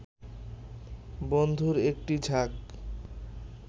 বন্ধুর একটি ঝাঁক